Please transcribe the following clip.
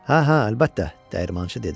Hə, hə, əlbəttə, dəyirmançı dedi.